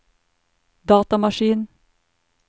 datamaskin